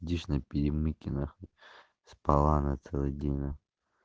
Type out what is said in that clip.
дишна перемыкина спала она целый день на